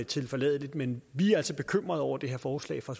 tilforladeligt men vi er altså bekymrede over det her forslag fra